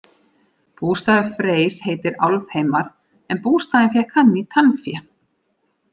Bústaður Freys heitir Álfheimar en bústaðinn fékk hann í tannfé.